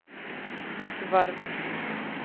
Gvarv